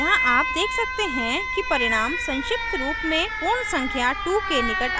यहाँ आप देख सकते हैं कि परिणाम संक्षिप्त रूप में पूर्ण संख्या 2 के निकट आता है